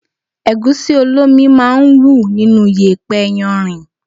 Ẹ̀gúsí olómi máa ń wù nínú yèpẹ̀ yarìn.